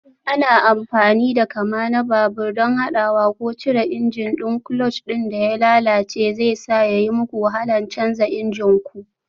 Ana amfani da kama na babur don haɗawa ko cire injin ɗin, clutch ɗin da ya lalace zai sa ya yi muku wahala canza injin ku.